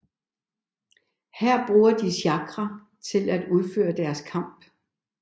Her bruger de chakra til at udføre deres kamp